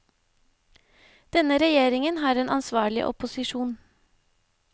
Denne regjeringen har en ansvarlig opposisjon.